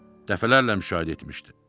Dəfələrlə müşahidə etmişdi.